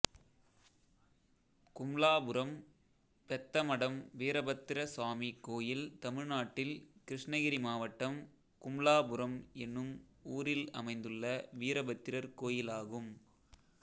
கும்ளாபுரம் பெத்தமடம் வீரபத்திர சுவாமி கோயில் தமிழ்நாட்டில் கிருஷ்ணகிரி மாவட்டம் கும்ளாபுரம் என்னும் ஊரில் அமைந்துள்ள வீரபத்திரர் கோயிலாகும்